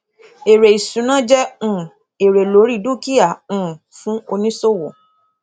èrè ìṣúná jẹ um èrè lórí dúkìá um fún oníṣòwò